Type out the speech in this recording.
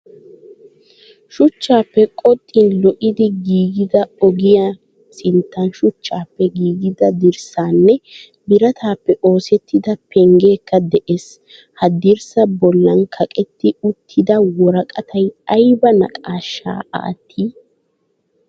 Shuchchappe qoxxin lo'idi giigida ogiyaa sinttan shuchchappe giigida dirssanne birataappe oosettida penggekka de'ees. Hadirssa bollan kaqetti uttida worqqatay ayba naqaashshaa attii?